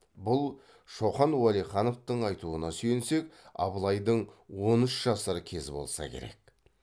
бұл шоқан уәлихановтың айтуына сүйенсек абылайдың он үш жасар кезі болса керек